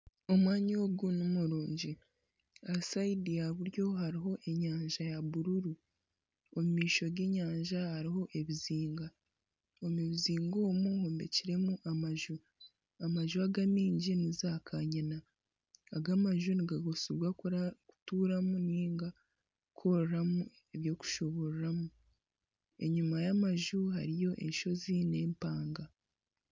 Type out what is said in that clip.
Omwanya ogu nimurungi. Aha saidi ya buryo hariho enyanja ya bururu. Omu maisho g'enyanja hariho ebizinga. Omu bizinga omu hombekiremu amaju. Amaju aga amaingi ni zaakanyina. Aga amaju nigakoresebwa kura kutuuramu nainga kukoreramu eby'okushuburiramu. Enyima y'amaju hariyo enshozi n'empanga.